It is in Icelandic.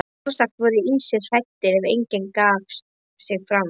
Sjálfsagt voru ýmsir hræddir, en enginn gaf sig fram.